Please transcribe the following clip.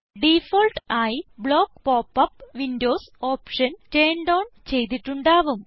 default ആയി block pop up windows option turned on ചെയ്തിട്ടുണ്ടാവും